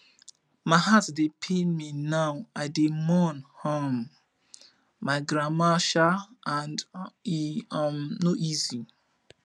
my heart dey pain me now i dey mourn um my grandmama um and e um no easy